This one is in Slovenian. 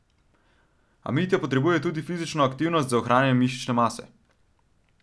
A Mitja potrebuje tudi fizično aktivnost za ohranjanje mišične mase.